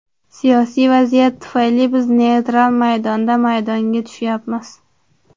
Siyosiy vaziyat tufayli biz neytral maydonda maydonga tushyapmiz.